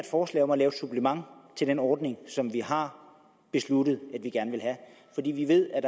forslag om at lave et supplement til den ordning som vi har besluttet at vi gerne vil have fordi vi ved at